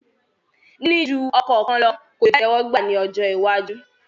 Níní ju ọkọ kan lọ kò lè jẹ ìtẹ́wọ́gbà ní ọjọ́ iwájú